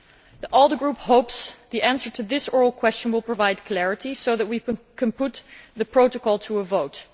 The ALDE Group hopes the answer to this oral question will provide clarity so that we can put the protocol to a vote.